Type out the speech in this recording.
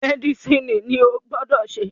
Mẹ́dísìnì ni o gbọ́dọ̀ se